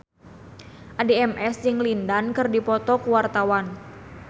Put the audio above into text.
Addie MS jeung Lin Dan keur dipoto ku wartawan